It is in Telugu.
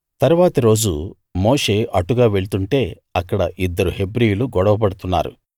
తరువాతి రోజు మోషే అటుగా వెళ్తుంటే అక్కడ ఇద్దరు హెబ్రీయులు గొడవ పడుతున్నారు